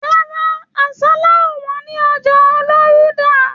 Rárá, àsálà o wọn ni ọjà Olorunda